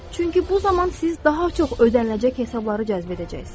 Çünki bu zaman siz daha çox ödəniləcək hesabları cəzb edəcəksiniz.